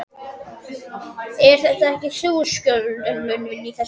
Ert þetta ekki þú, Skjöldur minn, inni í þessu?